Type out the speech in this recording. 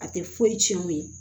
A tɛ foyi tiɲɛ o ye